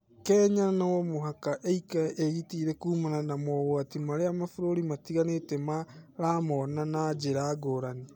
Kenya no mũvaka ĩikare ĩĩgitĩire kuumana na mogwati marĩa mabũrũri mabũrũri matiganĩte maramona na nira ngurani.